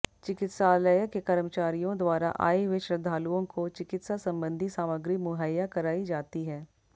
चिकित्सालय के कर्मचारियों द्वारा आये हुए श्रद्धालुओं को चिकित्सा संबंधि सामग्री मुहैया कराई जाती है